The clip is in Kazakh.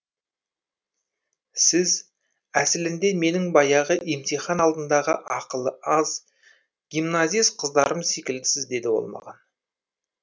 сіз әсілінде менің баяғы емтихан алдындағы ақылы аз гимназист қыздарым секілдісіз деді ол маған